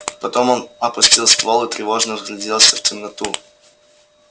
потом он опустил ствол и тревожно вгляделся в темноту